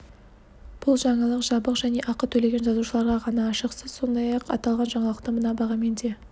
бұл жаңалық жабық және ақы төлеген жазылушыларға ғана ашық сіз сондай-ақ аталған жаңалықты мына бағамен де